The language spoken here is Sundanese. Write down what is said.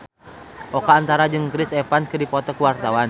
Oka Antara jeung Chris Evans keur dipoto ku wartawan